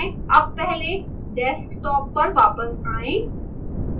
अब पहले desktop पर वापस आएं